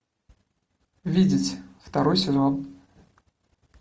видеть второй сезон